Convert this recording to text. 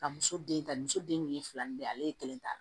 Ka muso den ta muso den fila ni bɛɛ ale ye kelen ta